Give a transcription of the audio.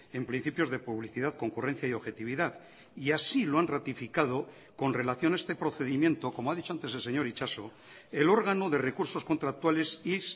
en principios de publicidad concurrencia y objetividad y así lo han ratificado con relación a este procedimiento como ha dicho antes el señor itxaso el órgano de recursos contractuales y